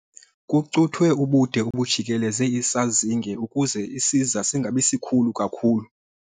Kucuthwe ubude obujikeleze isazinge ukuze isiza singabi sikhulu kakhulu.